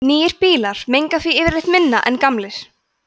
nýrri bílar menga því yfirleitt minna en gamlir